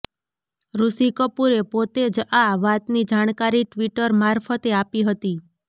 ઋષિ કપૂરે પોતે જ આ વાતની જાણકારી ટ્વિટર મારફતે આપી હતી